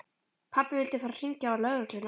Pabbi vildi fara að hringja á lögregluna.